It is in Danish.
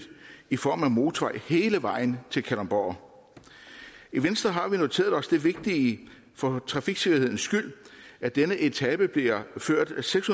i form af en motorvej hele vejen til kalundborg i venstre har vi noteret os det vigtige for trafiksikkerheden skyld at denne etape bliver ført seks